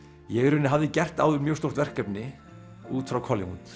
ég í rauninni hafði gert áður mjög stórt verkefni út frá Collingwood